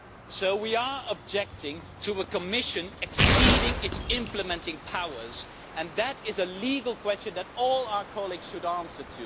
So we are objecting to the Commission exceeding its implementing powers, and that is a legal question that all our colleagues need to answer.